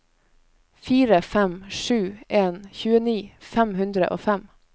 fire fem sju en tjueni fem hundre og fem